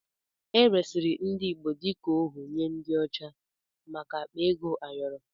E resịrị ndị Igbo dịka ohu nye ndị ọcha maka akpa ego ayọrọ.